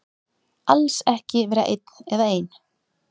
Alls ekki vera einn eða ein.